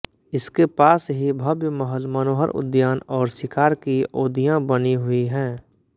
इसके पास ही भव्य महल मनोहर उद्यान और शिकार की ओदियाँ बनी हुई हैं